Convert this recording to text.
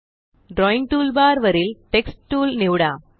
drawing toolbar वरील text tool निवडू